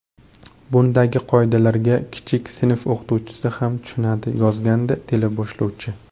Bundagi qoidalarga kichik sinf o‘quvchisi ham tushunadi”, yozgandi teleboshlovchi.